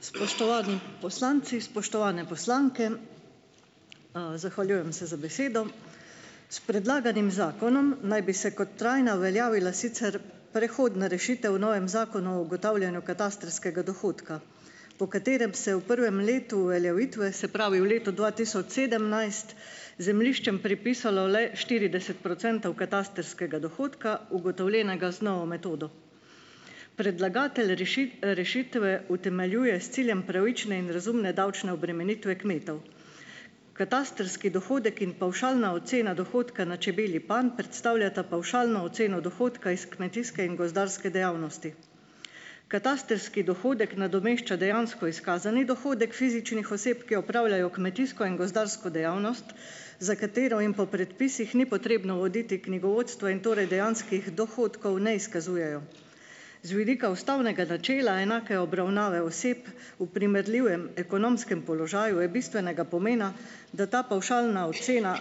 Spoštovani poslanci, spoštovane poslanke. Zahvaljujem se za besedo. S predlaganim zakonom naj bi se kot trajna uveljavila sicer prehodna rešitev v novem Zakonu o ugotavljanju katastrskega dohodka, po katerem se v prvem letu uveljavitve, se pravi v letu dva tisoč sedemnajst, zemljiščem pripisalo le štirideset procentov katastrskega dohodka, ugotovljenega z novo metodo. Predlagatelj rešitve utemeljuje s ciljem pravične in razumne davčne obremenitve kmetov. Katastrski dohodek in pavšalna ocena dohodka na čebelji panj predstavljata pavšalno oceno dohodka iz kmetijske in gozdarske dejavnosti. Katastrski dohodek nadomešča dejansko izkazani dohodek fizičnih oseb, ki opravljajo kmetijsko in gozdarsko dejavnost, za katero jim po predpisih ni potrebno voditi knjigovodstva in torej dejanskih dohodkov ne izkazujejo. Z vidika ustavnega načela enake obravnave oseb v primerljivem ekonomskem položaju je bistvenega pomena, da ta pavšalna ocena,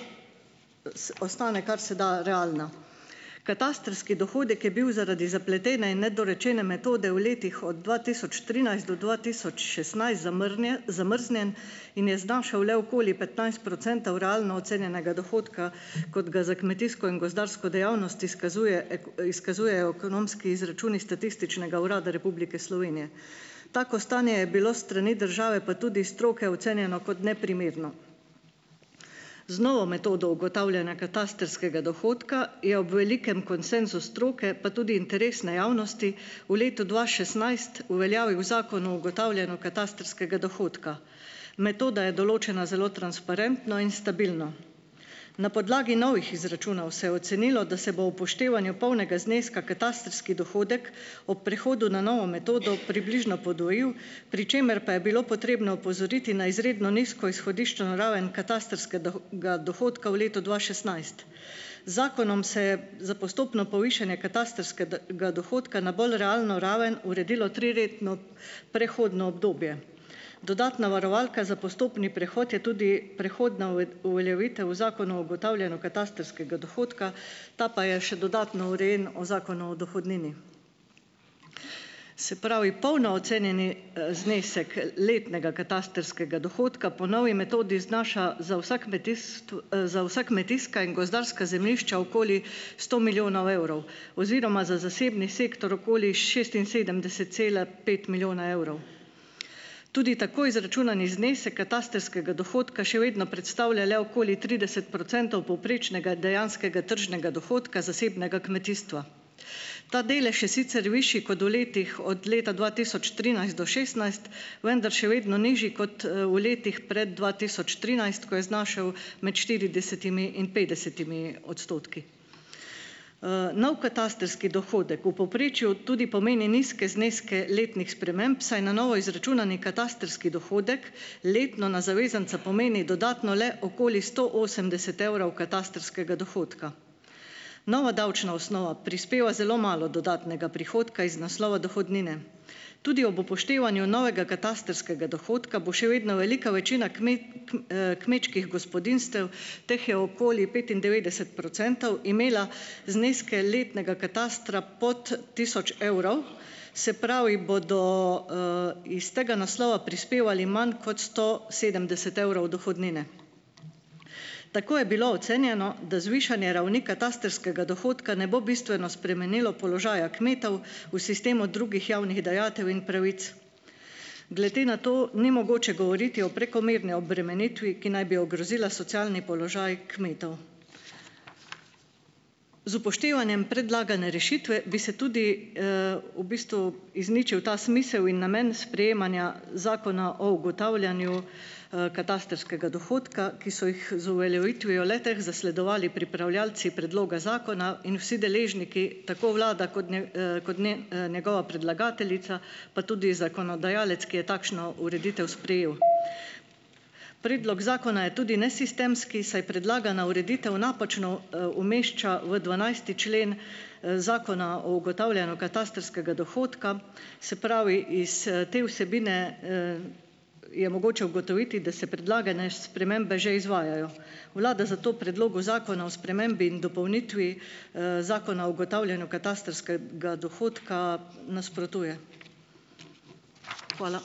ostane kar se da realna. Katastrski dohodek je bil zaradi zapletene in nedorečene metode v letih od dva tisoč trinajst do dva tisoč šestnajst zamrznjen in je znašal le okoli petnajst procentov realno ocenjenega dohodka, kot ga za kmetijsko in gozdarsko dejavnost izkazujejo izkazujejo ekonomski izračuni Statističnega urada Republike Slovenije. Tako stanje je bilo s strani države, pa tudi stroke, ocenjeno kot neprimerno. Z novo metodo ugotavljanja katastrskega dohodka je ob velikem konsenzu stroke, pa tudi interesne javnosti v letu dva šestnajst uveljavil Zakon o ugotavljanju katastrskega dohodka. Metoda je določena zelo transparentno in stabilno. Na podlagi novih izračunov se je ocenilo, da se bo upoštevanje polnega zneska katastrski dohodek ob prihodu na novo metodo približno podvojil, pri čemer pa je bilo potrebno opozoriti na izredno nizko izhodiščno raven ga dohodka v letu dva šestnajst. Z zakonom se za postopno povišanje ga dohodka na bolj realno raven uredilo triletno prehodno obdobje. Dodatna varovalka za postopni prehod je tudi prehodna uveljavitev o zakonu o ugotavljanju katastrskega dohodka, ta pa je še dodatno urejen v Zakonu o dohodnini. Se pravi, polno ocenjeni, znesek letnega katastrskega dohodka po novi metodi znaša za vsa za vsa kmetijska in gozdarska zemljišča okoli sto milijonov evrov oziroma za zasebni sektor okoli šestinsedemdeset cela pet milijona evrov. Tudi tako izračunani znesek katastrskega dohodka še vedno predstavlja le okoli trideset procentov povprečnega dejanskega tržnega dohodka zasebnega kmetijstva. Ta delež je sicer višji kot v letih od leta dva tisoč trinajst do šestnajst, vendar še vedno nižji kot, v letih pred dva tisoč trinajst, ko je znašal med štiridesetimi in petdesetimi odstotki. Nov katastrski dohodek v povprečju tudi pomeni nizke zneske letnih sprememb, saj na novo izračunani katastrski dohodek letno na zavezanca pomeni dodatno le okoli sto osemdeset evrov katastrskega dohodka. Nova davčna osnova prispeva zelo malo dodatnega prihodka iz naslova dohodnine. Tudi ob upoštevanju novega katastrskega dohodka bo še vedno velika večina kmečkih gospodinjstev, teh je okoli petindevetdeset procentov, imela zneske letnega katastra pod tisoč evrov, se pravi, bodo, iz tega naslova prispevali manj kot sto sedemdeset evrov dohodnine. Tako je bilo ocenjeno, da zvišanje ravni katastrskega dohodka ne bo bistveno spremenilo položaja kmetov v sistemu drugih javnih dajatev in pravic. Glede na to ni mogoče govoriti o prekomerni obremenitvi, ki naj bi ogrozila socialni položaj kmetov. Z upoštevanjem predlagane rešitve bi se tudi, v bistvu izničil ta smisel in namen sprejemanja zakona o ugotavljanju, katastrskega dohodka, ki so jih z uveljavitvijo le-teh zasledovali pripravljavci predloga zakona in vsi deležniki, tako vlada kot kot njegova predlagateljica, pa tudi zakonodajalec, ki je takšno ureditev sprejel. Predlog zakona je tudi nesistemski, saj predlagana ureditev napačno, umešča v dvanajsti člen, zakona o ugotavljanju katastrskega dohodka, se pravi iz, te vsebine, je mogoče ugotoviti, da se predlagane spremembe že izvajajo. Vlada zato Predlogu zakona o spremembi in dopolnitvi, zakona o ugotavljanju ga dohodka nasprotuje. Hvala.